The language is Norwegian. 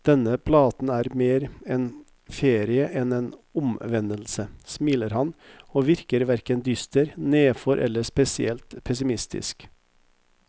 Denne platen er mer en ferie enn en omvendelse, smiler han, og virker hverken dyster, nedfor eller spesielt pessimistisk.